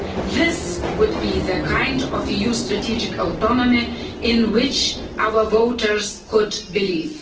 This would be the kind of EU strategic autonomy in which our voters could believe.